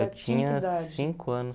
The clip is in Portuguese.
Eu tinha cinco anos.